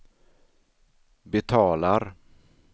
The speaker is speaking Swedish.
betalar